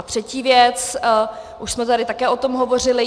A třetí věc, už jsme tady také o tom hovořili.